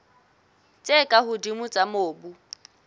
tse ka hodimo tsa mobu